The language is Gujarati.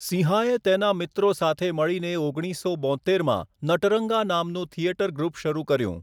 સિંહાએ તેના મિત્રો સાથે મળીને ઓગણીસસો બોત્તેરમાં 'નટરંગા' નામનું થિયેટર ગ્રુપ શરૂ કર્યું.